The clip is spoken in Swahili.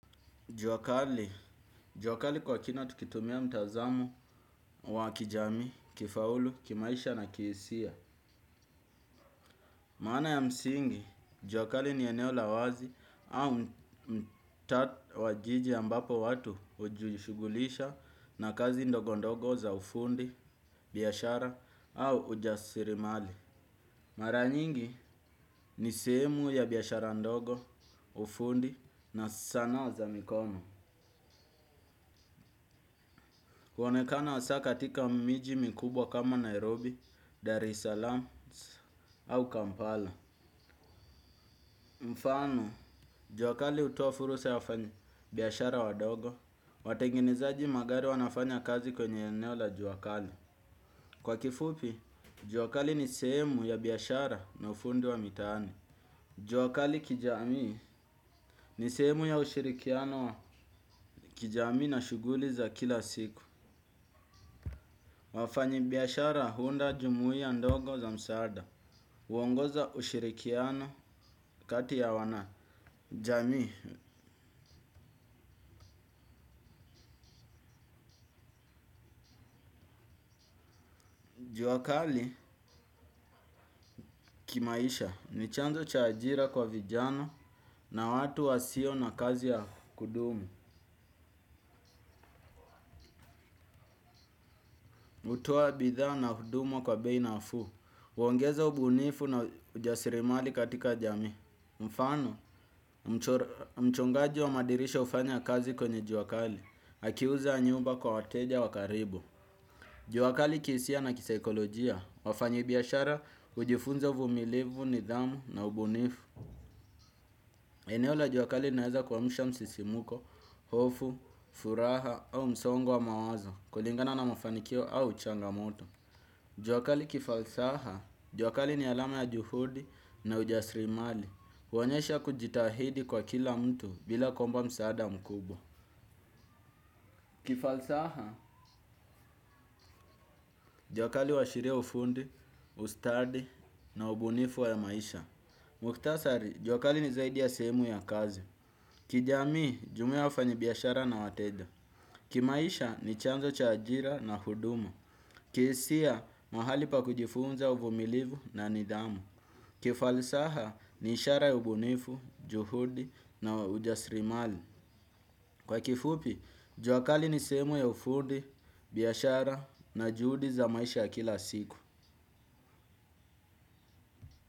Jua kali, jua kali kwa kina tukitumia mtazamo wa kijamii, kifaulu, kimaisha na kihisia. Maana ya msingi, jua kali ni eneo la wazi au mtaa wa jiji ambapo watu hujishughulisha na kazi ndogo ndogo za ufundi, biashara au ujasirimali. Mara nyingi, ni sehemu ya biashara ndogo, ufundi na sanaa za mikono. Huonekana hasaa katika miji mikubwa kama Nairobi, Dar es Salaam au Kampala. Mfano, jua kali hutoa fursa ya wafanyibiashara wadogo. Watengenezaji magari wanafanya kazi kwenye eneo la jua kali. Kwa kifupi, jua kali ni sehemu ya biashara na ufundi wa mitaani. Jua kali kijamii, ni sehemu ya ushirikiano wa kijamii na shughuli za kila siku. Wafanyibiyashara huunda jumuia ndogo za msaada. Huongoza ushirikiano kati ya wanajamii. Jua kali kimaisha ni chanzo cha ajira kwa vijana na watu wasio na kazi ya kudumu. Hutoa bidhaa na huduma kwa bei nafuu. Huongeza ubunifu na ujasirimali katika jamii. Mfano, mchongaji wa madirisha hufanya kazi kwenye jua kali, akiuza nyumba kwa wateja wa karibu. Jua kali kihisia na kisaikolojia. Wafanyibiashara hujifunza uvumilivu, nidhamu na ubunifu. Eneo la jua kali linaeza kuamsha msisimuko, hofu, furaha au msongo wa mawazo kulingana na mafanikio au changamoto. Jua kali kifalsaha. Jua kali ni alama ya juhudi na ujasrimali. Huonyesha kujitahidi kwa kila mtu, bila kuomba msaada mkubwa. Kifalsaha, jua kali huashiria ufundi, ustadi na ubunifu wa maisha. Mukhtasari, jua kali ni zaidi ya sehemu ya kazi. Kijamii, jumuiya ya wafanyibiashara na wateja. Kimaisha, ni chanzo cha ajira na huduma. Kihisia, mahali pa kujifunza uvumilivu na nidhamu. Kifalsaha, ni ishara ya ubunifu, juhudi na ujasrimali. Kwa kifupi, jua kali ni sehemu ya ufudi, biashara na juhudi za maisha ya kila siku.